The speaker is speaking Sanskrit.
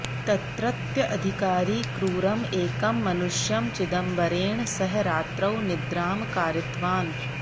तत्रत्य अधिकारी क्रूरम् एकं मनुष्यं चिदंबरेण सह रात्रौ निद्रां कारितवान्